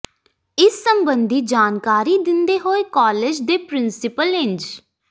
ਇਸ ਸੰਬੰਧੀ ਜਾਣਕਾਰੀ ਦਿੰਦੇ ਹੋਏ ਕਾਲਜ ਦੇ ਪ੍ਰਿੰਸੀਪਲ ਇੰਜ